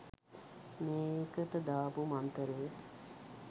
මේකට දාපු මන්තරේ